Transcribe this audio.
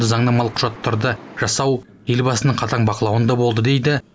заңнамалық құжаттарды жасау елбасының қатаң бақылауында болды дейді